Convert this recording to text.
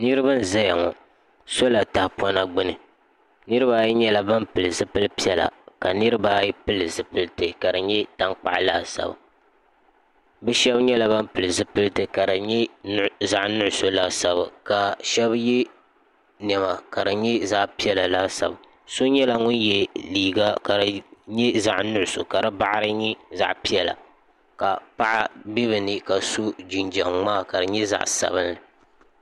niraba n ʒɛya ŋɔ soola tahapona gbuni niraba ayi nyɛla ban pili zipili piɛla ka niraba ayi pili zipiliti ka di nyɛ tankpaɣu laasabu bi shab nyɛ ban pili zipiliti ka di nyɛ zaɣ nuɣso laasabu ka shab yɛ niɛma ka di nyɛ zaɣ piɛla laasabu so nyɛla ŋun yɛ liiga ka di nyɛ zaɣ nuɣso ka di boɣari ni nyɛ zaɣ piɛla ka paɣa bɛ bi ni ka so jinjɛm ŋmaa ka di nyɛ zaɣ sabinli